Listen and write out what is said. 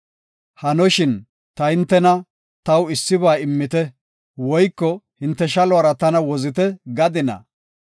Hanoshin ta hintena, “Taw issiba immite” woyko, “Hinte shaluwara tana wozite” gadinaa?